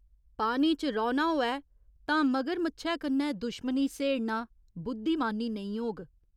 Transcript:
पानी च रौह्‌ना होऐ तां मगरमच्छै कन्नै दुश्मनी स्हेड़ना बुद्धिमानी नेईं होग।